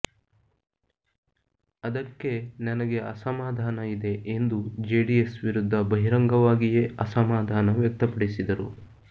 ಅದಕ್ಕೆ ನನಗೆ ಅಸಮಾಧಾನ ಇದೆ ಎಂದು ಜೆಡಿಎಸ್ ವಿರುದ್ಧ ಬಹಿರಂಗವಾಗಿಯೇ ಅಸಮಾಧಾನ ವ್ಯಕ್ತಪಡಿಸಿದರು